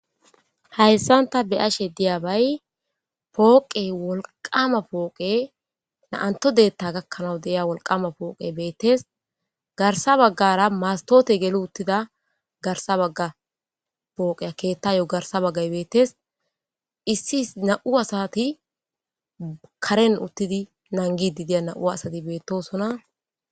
hayssanta beashe diya bay pooqe wolqama pooqe naantodetta gakkanaw deia wolqama pooqe beettes garsa baggara mastoote gelo uttida garsa bagga pooqeya keetta yo garsa baggay beettes issi is na7u asati karen uttidi nangi didiya na7u asati beettosona